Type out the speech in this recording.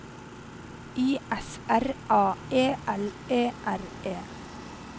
I S R A E L E R E